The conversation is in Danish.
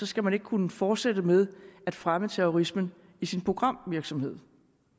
skal man ikke kunne fortsætte med at fremme terrorismen i sin programvirksomhed